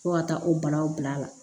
Fo ka taa o banaw bila a la